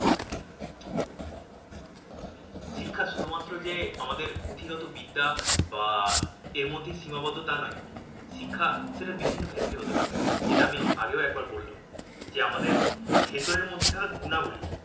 শিক্ষা শুধু মাত্র যে আমাদের পুঁথিগত বিদ্যা বা এর মধ্যেই সীমাবদ্ধ তা নয় শিক্ষা সেটা বিভিন্ন ক্ষেত্রে হতে পারে। যেটা আমি আগেও একবার বললাম। যে আমাদের ভেতরের মধ্যে থাকা গুণাবলীর